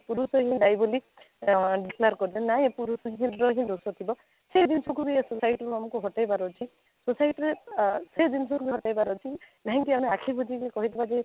ପୁରୁଷ ହିଁ ଦାୟୀ ବୋଲି declare କରି ଦେଲେ ନାହିଁ ପୁରୁଷର ହିଁ ଦୋଷ ଥିବ ସେ ଜିନିଷକୁ ବି society ରୁ ଆମକୁ ହାଟେଇ ବାର ଅଛି ସେଇଠି ଆଃ ସେଇ ଜିନିଷ ବି ହାଟେବାର ଅଛି କାହିଁକି ଆମେ ଆଖି ବୁଜିକି କହିଦେବା ଯେ